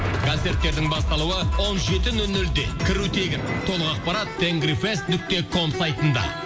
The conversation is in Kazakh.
концерттердің басталуы он жеті нөл нөлде кіру тегін толық ақпарат тенгрифест нүкте ком сайтында